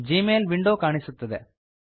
ಜೀ ಮೇಲ್ window ಕಾಣಿಸುತ್ತದೆ